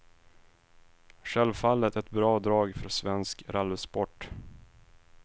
Självfallet ett bra drag för svensk rallysport.